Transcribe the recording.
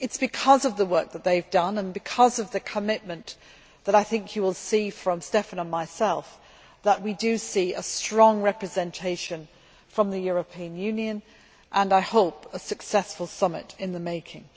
It is because of the work that they have done and because of the commitment that I think you will see from Štefan and myself that we see a strong representation from the European Union and, I hope, a successful summit in the making.